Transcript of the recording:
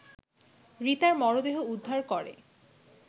রিতার মরদেহ উদ্ধার করে